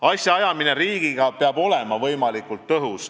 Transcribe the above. Asjaajamine riigiga peab olema võimalikult tõhus.